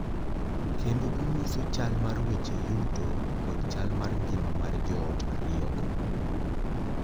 Kendo onyiso chal mar weche yuto kod chal mar ngima mar joot ariyogo.